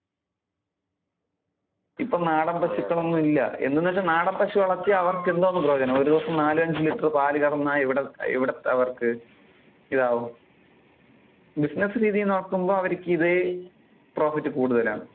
ഇപ്പൊ നാടൻ പശുക്കൾ ഒന്നും ഇല്ല. എന്താണെന്നു വെച്ചാൽ ഇപ്പൊ നാടൻ പശുക്കളെ വളർത്തിയ അവർക്ക് എന്തോന്ന് പ്രയോജനം, ഒരു ദിവസം നാലും അഞ്ചും ലിറ്റർ പാല് കറന്നാൽ ഇവിടെ~ ഇവിടത്തെ അവർക്ക് ഇതാവും business രീതിയിൽ നോക്കുമ്പോ അവർക്ക് ഇത് profit കൂടുതൽ ആണ്.